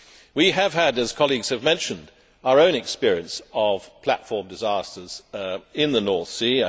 We have had, as colleagues have mentioned, our own experience of platform disasters in the North Sea.